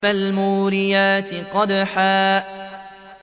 فَالْمُورِيَاتِ قَدْحًا